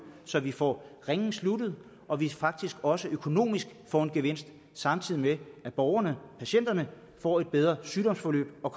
så vi får ringen sluttet og så vi faktisk også økonomisk får en gevinst samtidig med at borgerne og patienterne får et bedre sygdomsforløb og